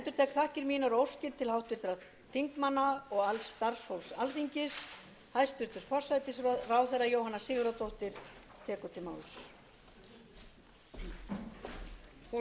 undir þau orð með því að rísa úr sætum ég endurtek þakkir mínar og óskir til háttvirtra þingmanna og alls starfsfólks alþingis